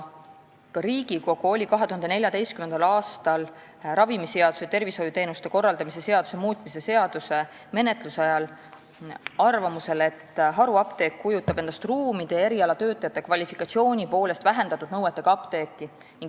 Ka Riigikogu oli 2014. aastal ravimiseaduse ja tervishoiuteenuste korraldamise seaduse muutmise seaduse menetlusel ajal arvamusel, et haruapteek kujutab endast ruumide ja erialatöötajate kvalifikatsiooni poolest vähendatud nõuetega apteeki.